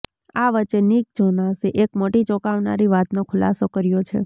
આ વચ્ચે નિક જોનાસે એક મોટી ચોંકાવનારી વાતનો ખુલાસો કર્યો છે